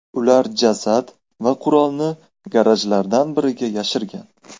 Ular jasad va qurolni garajlardan biriga yashirgan.